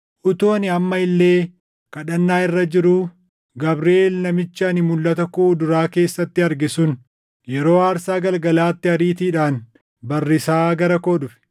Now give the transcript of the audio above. utuu ani amma illee kadhannaa irra jiruu, Gabriʼeel namichi ani mulʼata koo duraa keessatti arge sun, yeroo aarsaa galgalaatti ariitiidhaan barrisaa gara koo dhufe.